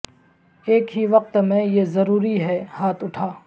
ایک ہی وقت میں یہ ضروری ہے ہاتھ اٹھا